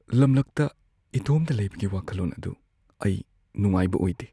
ꯂꯝꯂꯛꯇ ꯏꯇꯣꯝꯇ ꯂꯩꯕꯒꯤ ꯋꯥꯈꯜꯂꯣꯟ ꯑꯗꯨ ꯑꯩ ꯅꯨꯡꯉꯥꯏꯕ ꯑꯣꯏꯗꯦ ꯫